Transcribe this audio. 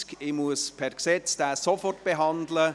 Ich muss diesen aufgrund des Gesetzes sofort behandeln.